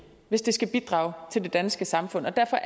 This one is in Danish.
hvis det skal bidrage til det danske samfund og derfor